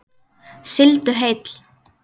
Sigldu heill.